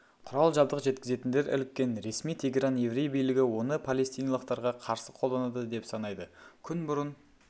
құрал-жабдық жеткізетіндер іліккен ресми тегеран еврей билігі оны палестиналықтарға қарсы қолданады деп санайды күн бұрын